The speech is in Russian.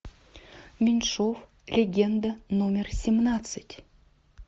меньшов легенда номер семнадцать